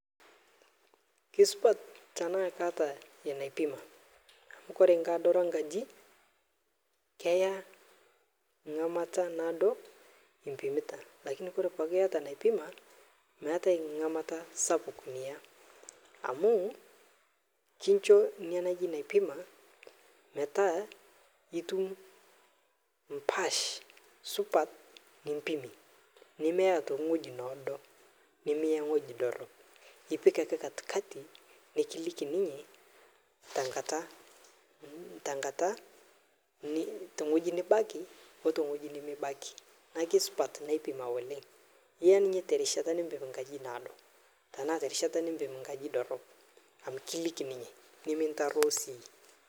Kisupat tanaa kaata inaipima, amu kore nkadoro enkaji keya ng'amata naadoi impimita, lakini kore ake ebaiki iata naipima, meetai ng'amata sapuk niya, amuu kincho naipima metaa itum mpaash supat nimpimie, nimiya abaki ntoki noodo, nimiya wueji dorop, nipike ake katikati nikiliki ninye nkata, te wueji nibaki oo tewueji nimibaki, naaku isupat naipima oleng'.Iya ninche te rishata nemeado nkaji dorop, amu kiliki ninye nias.